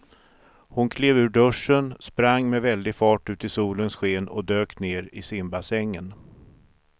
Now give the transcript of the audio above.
Hon klev ur duschen, sprang med väldig fart ut i solens sken och dök ner i simbassängen.